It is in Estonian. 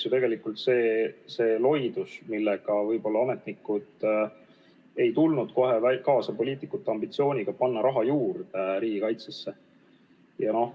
Sai selgeks loidus, et ametnikud ei tule kohe kaasa poliitikute ambitsiooniga raha riigikaitsesse juurde panna.